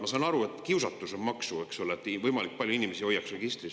Ma saan aru, et on kiusatus maksu, et võimalikult palju inimesi hoiaks registris …